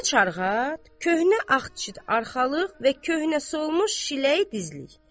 Köhnə çarxat, köhnə ağçıtd arxalıq və köhnə solmuş şiləy dizlik.